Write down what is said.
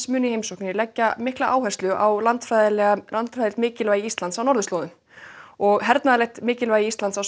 muni í heimsókninni leggja áherslu á landfræðilegt landfræðilegt mikilvægi Íslands á norðurslóðum og hernaðarlegt mikilvægi Íslands á